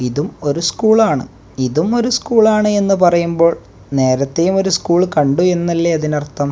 ഇതും ഒരു സ്കൂളാണ് ഇതും ഒരു സ്കൂളാണ് എന്ന് പറയുമ്പോൾ നേരത്തെയും ഒരു സ്കൂൾ കണ്ടു എന്നല്ലെ അതിനർത്ഥം.